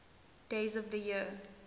days of the year